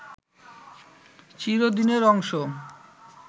চিরদিনের অংশ